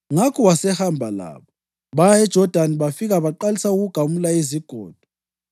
Ngakho wasehamba labo. Baya eJodani bafika baqalisa ukugamula izigodo.